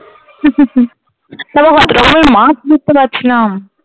মাছ দেখতে পাচ্ছিলাম